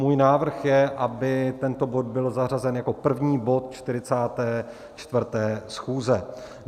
Můj návrh je, aby tento bod byl zařazen jako první bod 44. schůze.